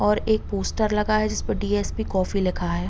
और एक पोस्टर लगा है जिस पे डी.एस.पी कॉफ़ी लिखा है।